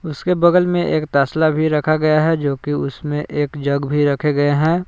उसके बगल में एक तसला भी रखा गया है जो कि उसके बगल में एक जग रखे हुए हैं।